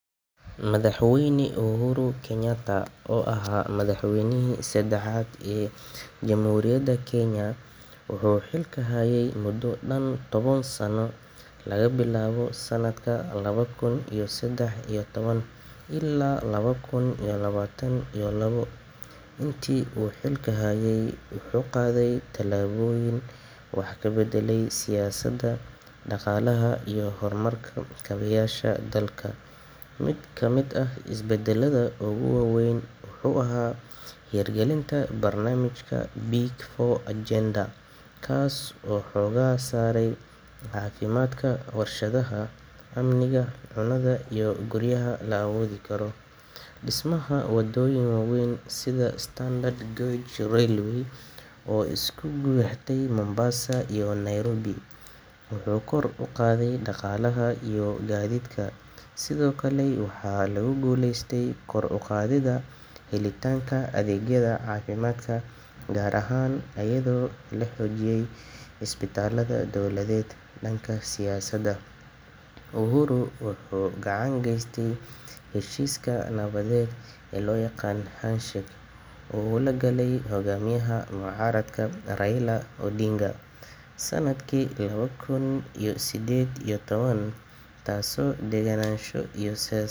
Madhax weyne uhuru kenyatta oo aha madhax weynihi sadaxaad ee hamhuriyaada kenya wuxuu xilka haye mudo tawan sano laga bilawo lawa kun iyo sadax iyo tawa ila lawa kun iyo lawatan iyo sadex, dismaha wadoyin wawen oo isku lexdo mombasa iyo nairobi uhuru wuxuu gacan ka geste heshiska nawadeed sanadki lawa kun iyo sided iyo tawan.